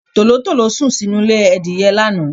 Tòlótòló sùn sínú ilé Adìyẹ lánàá.